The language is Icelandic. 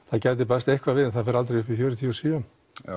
það gæti bæst eitthvað við en það fer aldrei upp í fjörutíu og sjö